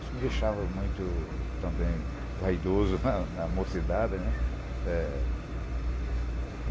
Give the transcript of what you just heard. Isso me deixava muito, também, vaidoso na mocidade.